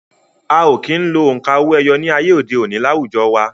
A ò kí ń lo òǹkà owó-ẹyọ ní ayé òde òni láwùjọ wa